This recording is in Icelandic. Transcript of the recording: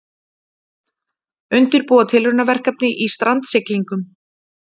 Undirbúa tilraunaverkefni í strandsiglingum